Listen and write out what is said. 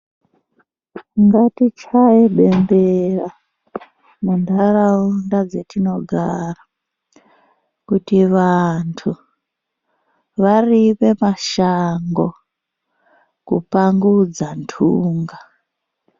Ngatichaye bemberera, mundaraunda dzatinogara, kuti vantu varime mashango, kupangudza ndunga.